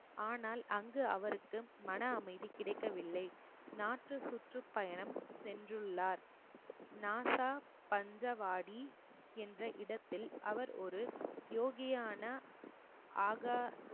ஆனால் அங்கு அவருக்கு மன அமைதி கிடைக்கவில்லை நாற்று சுற்றுப்பயணம் சென்றுள்ளார் நாசா பஞ்சவாடி என்ற இடத்தில் அவர் ஒரு யோகியான ஆக